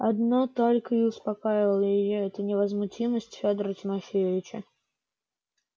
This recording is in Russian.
одно только и успокаивало её это невозмутимость федора тимофеевича